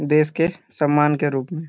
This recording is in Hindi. देश के सम्मान के रूप मे --